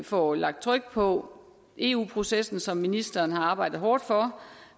får lagt tryk på eu processen som ministeren har arbejdet hårdt for